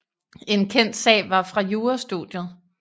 En kendt sag var fra jurastudiet